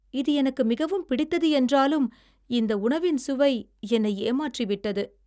இது எனக்கு மிகவும் பிடித்தது என்றாலும், இந்த உணவின் சுவை என்னை ஏமாற்றிவிட்டது.